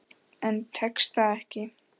En tekst það ekki.